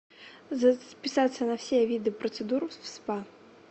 записаться на все виды процедур в спа